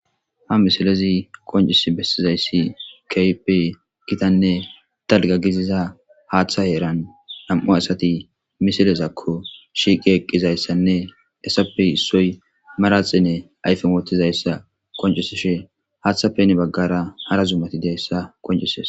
Ha misilezi qoncises besizaysi kehippe giitane dalga hatha heran diza misilezako shiqi eqidaysane manaxire ayfen wothidaysa qoncisishe hathappe heni bagara hara zumay dizaysa qoncises